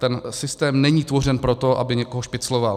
Ten systém není tvořen proto, aby někoho špicloval.